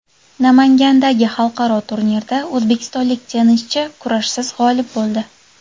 Namangandagi xalqaro turnirda o‘zbekistonlik tennischi kurashsiz g‘olib bo‘ldi.